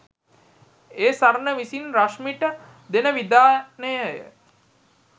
ඒ සරණ විසින් රශ්මිට දෙන විධානයය.